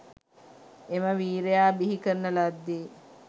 එම වීරයා බිහි කරන ලද්දේ